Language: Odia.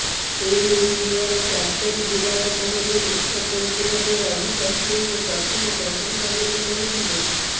ଟିମ୍ ଇଣ୍ଡିଆର କ୍ୟାପ୍ଟେନ ବିରାଟ କୋହଲୀ ମୁଖ୍ୟ କୋଚ୍ ଭାବେ ରବି ଶାସ୍ତ୍ରୀଙ୍କୁ ପ୍ରଥମ ପସନ୍ଦ ବୋଲି କହିଥିଲେ